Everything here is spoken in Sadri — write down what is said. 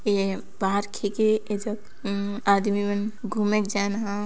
ये पार्क हेके एजग उम आदमी मन घूमेक जैनहा --